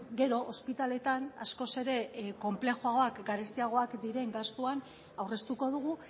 gero ospitaleetan askoz ere konplexuagoak garestiagoak diren gastuan aurreztuko dugu